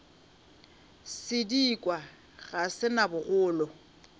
sedikwa ga se na bogolo